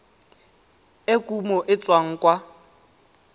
e kumo e tswang kwa